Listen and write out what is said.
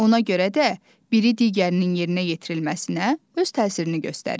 Ona görə də biri digərinin yerinə yetirilməsinə öz təsirini göstərir.